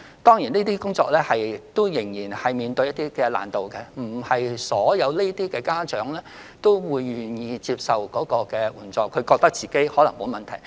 當然，這些工作仍有一些難度，因為這類家長並非全部都願意接受援助，他們可能自覺沒有問題。